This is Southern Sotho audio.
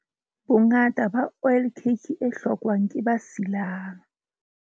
Bongata ba oil cake e hlokwang ke ba silang.